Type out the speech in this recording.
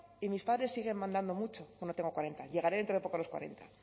y mis padres siguen mandando mucho no no tengo cuarenta llegaré dentro de poco a los cuarenta